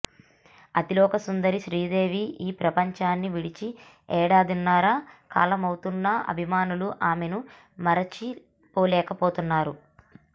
అతిలోక సుందరి శ్రీదేవి ఈ ప్రపంచాన్ని విడిచి ఏడాదిన్నర కాలమవుతున్నా అభిమానులు ఆమెను మరిచిపోలేకపోతున్నారు